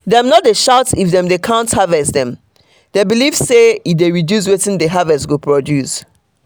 dem no dey shout if them dey count harvest dem believe say e dey reduce wetin the harvest go produce.